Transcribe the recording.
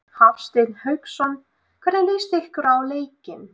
Hafsteinn Hauksson: Hvernig líst ykkur á leikinn?